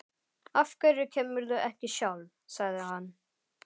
Af hverju kemurðu ekki sjálf? sagði hann.